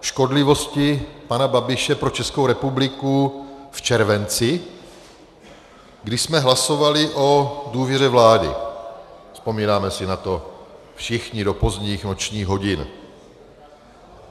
škodlivosti pana Babiše pro Českou republiku v červenci, kdy jsme hlasovali o důvěře vládě, vzpomínáme si na to všichni, do pozdních nočních hodin.